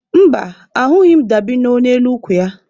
Mba, ahụghị m dabino n'elu ukwu ya.